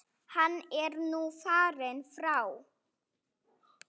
Hann er nú fallinn frá.